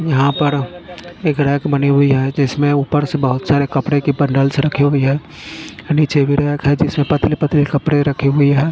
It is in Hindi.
यहां पर एक रैक बनी हुई है जिसमें ऊपर से बहोत सारे कपड़े के बंडल्स रखी हुई है नीचे भी रैक है जिसमें पतले पतले कपड़े रखे हुई है।